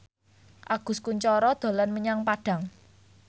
Agus Kuncoro dolan menyang Padang